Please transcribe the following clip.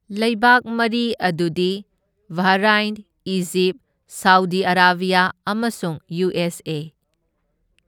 ꯂꯩꯕꯥꯛ ꯃꯔꯤ ꯑꯗꯨꯗꯤ ꯕꯍꯔꯥꯢꯟ, ꯏꯖꯤꯞ, ꯁꯥꯎꯗꯤ ꯑꯔꯥꯕ꯭ꯌꯥ ꯑꯃꯁꯨꯡ ꯌꯨ. ꯑꯦꯁ. ꯑꯦ.꯫